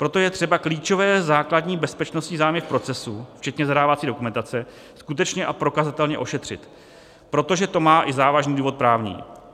Proto je třeba klíčové základní bezpečnostní zájmy v procesu, včetně zadávací dokumentace, skutečně a prokazatelně ošetřit, protože to má i závažný důvod právní.